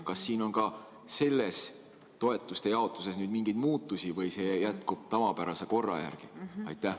Kas siin on ka nüüd toetuste jaotamise puhul mingeid muutusi või see jätkub tavapärase korra järgi?